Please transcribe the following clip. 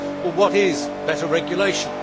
What is better regulation?